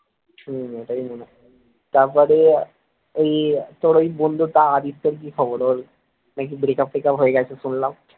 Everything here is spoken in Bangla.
হম এটাই মনে হয়, তারপরে ওই তোর ওই বন্ধুটা আরিফের কি খবর ওর নাকি breakup ট্রেকআপ হয়ে গেছে শুনলাম